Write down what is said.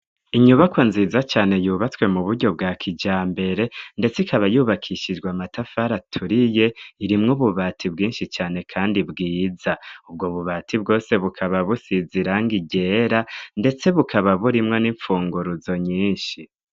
Inyubako nziza cane yubatswe mu buryo bwa kija mbere, ndetse ikaba yubakishijwa matafara aturiye irimwo ububati bwinshi cane, kandi bwiza ubwo bubati bwose bukaba busiziranga igera, ndetse bukaba burimwo n'imfunguruzo nyinshi.